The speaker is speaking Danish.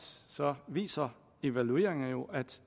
viser evalueringer jo at